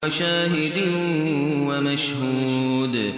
وَشَاهِدٍ وَمَشْهُودٍ